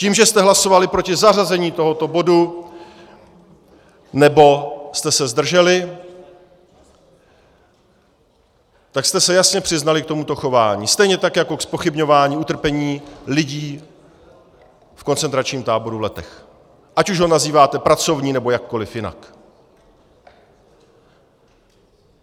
Tím, že jste hlasovali proti zařazení tohoto bodu nebo jste se zdrželi, tak jste se jasně přiznali k tomuto chování, stejně tak jako ke zpochybňování utrpení lidí v koncentračním táboru v Letech, ať už ho nazýváte pracovní, nebo jakkoliv jinak.